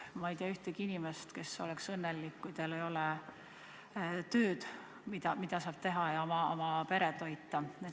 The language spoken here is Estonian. Ma ei tea ühtegi inimest, kes oleks õnnelik, kui tal ei ole tööd, mida teha, et oma peret toita.